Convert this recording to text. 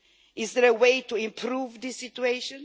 Is there a way to improve this situation?